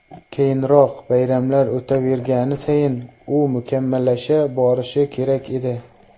Keyinroq, bayramlar o‘tavergani sayin, u mukammallasha borishi kerak edi.